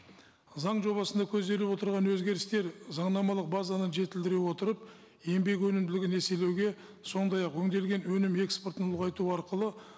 заң жобасында көзделіп отырған өзгерістер заңнамалық базаны жетілдіре отырып еңбек өнімділігін еселеуге сондай ақ өңделген өнім экспортын ұлғайту арқылы